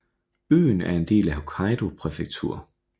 Øen er en del af Hokkaido prefektur